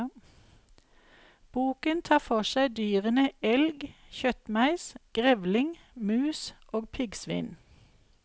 Boken tar for seg dyrene elg, kjøttmeis, grevling, mus og piggsvin.